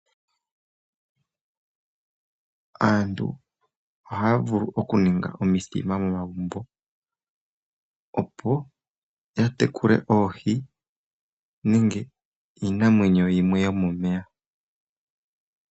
Aantu oha ya vulu okuninga omithima momagumbo opo yatekule oohi nenge iinamwenyo yimwe yomomeya.